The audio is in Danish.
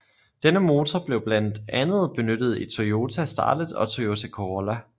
Denne motor blev blandt andet benyttet i Toyota Starlet og Toyota Corolla